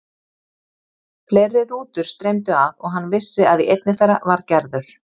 Fleiri rútur streymdu að og hann vissi að í einni þeirra var Gerður.